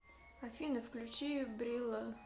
афина включи брилло